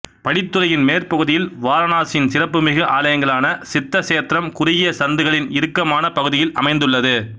படித்துறையின் மேற்பகுதியில் வாரணாசியின் சிறப்புமிகு ஆலயங்களான சித்த சேத்ரம் குறுகிய சந்துகளின் இறுக்கமான பகுதியில் அமைந்துள்ளது